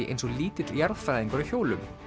eins og lítill jarðfræðingur á hjólum